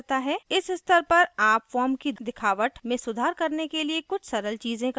इस स्तर पर आप form की दिखावट में सुधार करने के लिए कुछ सरल चीजें कर सकते हैं